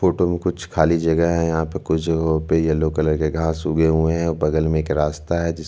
photo में कुछ खाली जगह है यहाँ पे कुछ जगह पे येल्लो कलर के घास उगे हुए है बगल में एक रास्ता है जिसमें --